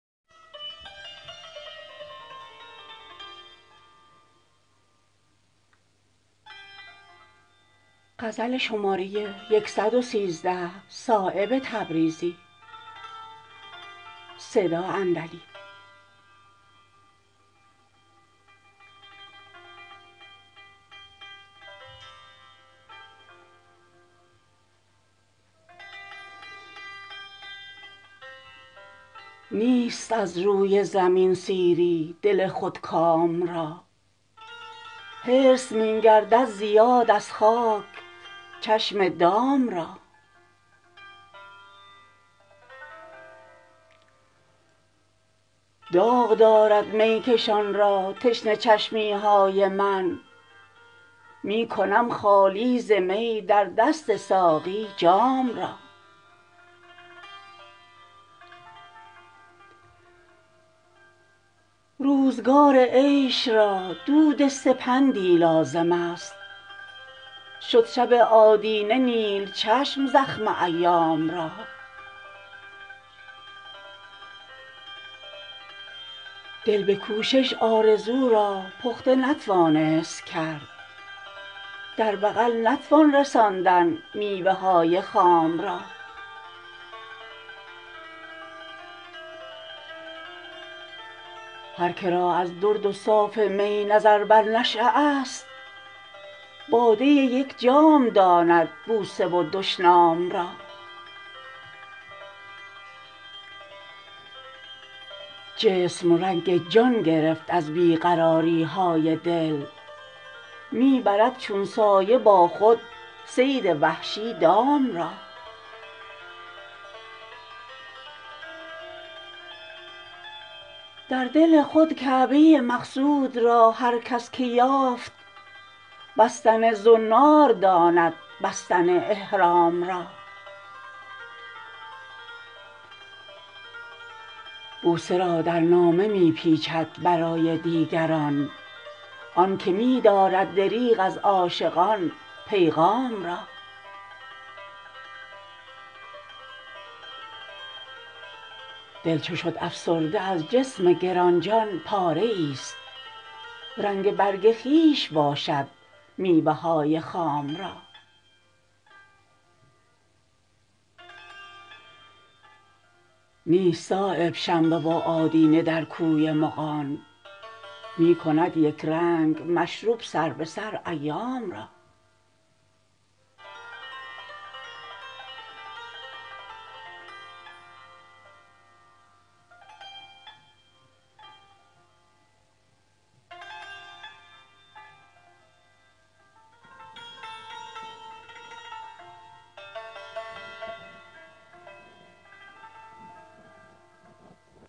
نیست از روی زمین سیری دل خود کام را حرص می گردد زیاد از خاک چشم دام را داغ دارد میکشان را تشنه چشمی های من می کنم خالی ز می در دست ساقی جام را روزگار عیش را دود سپندی لازم است شد شب آدینه نیل چشم زخم ایام را دل به کوشش آرزو را پخته نتوانست کرد در بغل نتوان رساندن میوه های خام را هر که را از درد و صاف می نظر بر نشأه است باده یک جام داند بوسه و دشنام را جسم رنگ جان گرفت از بی قراری های دل می برد چون سایه با خود صید وحشی دام را در دل خود کعبه مقصود را هر کس که یافت بستن زنار داند بستن احرام را بوسه را در نامه می پیچد برای دیگران آن که می دارد دریغ از عاشقان پیغام را دل چو شد افسرده از جسم گرانجان پاره ای است رنگ برگ خویش باشد میوه های خام را نیست صایب شنبه و آدینه در کوی مغان می کند یکرنگ مشرب سر به سر ایام را